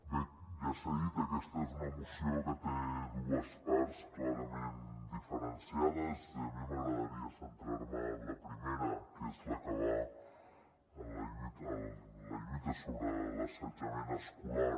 bé ja s’ha dit aquesta és una moció que té dues parts clarament diferenciades i a mi m’agradaria centrar me en la primera que és la que va de la lluita sobre l’assetjament escolar